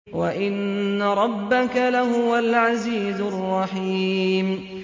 وَإِنَّ رَبَّكَ لَهُوَ الْعَزِيزُ الرَّحِيمُ